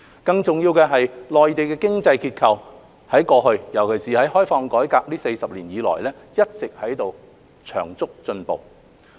更重要的是，內地的經濟結構，在過去尤其是在開放改革40年以來，一直有長足進步。